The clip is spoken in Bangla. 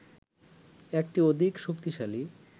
একটি অধিক শক্তিশালী